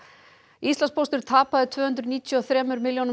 Íslandspóstur tapaði tvö hundruð níutíu og þremur milljónum